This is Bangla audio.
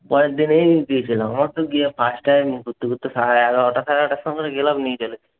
পরের দিন এই গিয়েছিলাম first time ঘুরতে ঘুরতে সাড়ে এগারোটা, সাড়ে এগারোটার সময় গেলাম